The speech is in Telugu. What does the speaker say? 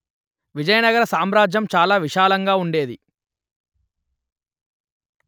విజయనగర సామ్రాజ్యం చాలా విశాలంగా ఉండేది